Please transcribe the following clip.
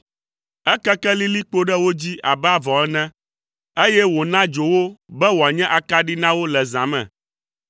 Ekeke lilikpo ɖe wo dzi abe avɔ ene, eye wòna dzo wo be wòanye akaɖi na wo le zã me.